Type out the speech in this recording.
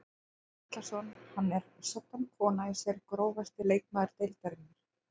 Andri Atlason hann er soddan kona í sér Grófasti leikmaður deildarinnar?